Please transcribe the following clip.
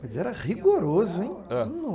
Mas era rigoroso, hein? É.